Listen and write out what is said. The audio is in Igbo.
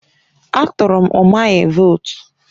A tụrụ m Umahi vootu.